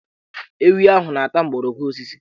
Ewi ahụ na-ata mgbọrọgwụ osisi